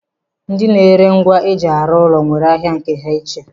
Ndi na-ere ngwa eji arụ ụlọ nwere ahịa nke ha iche.